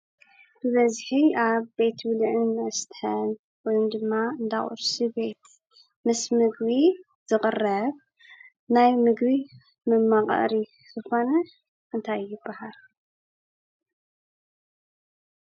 ብበዝሒ ኣብ ቤት ብልዕን መስተን ወይ ድማ እንዳ ቁርሲ ቤት ምስ ምግቢ ዝቕረብ ናይ ምግቢ መማቐሪ ዝኾነ እንታይ ይባሃል?